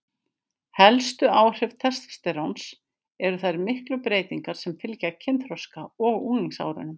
Helstu áhrif testósteróns eru þær miklu breytingar sem fylgja kynþroska og unglingsárunum.